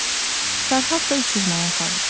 Fərhad da 300 manat alır.